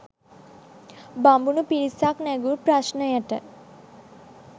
බමුණු පිරිසක් නැඟූ ප්‍රශ්නයට